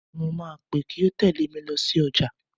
Mo máa péè kó tèlé mi lọ sí ọjà.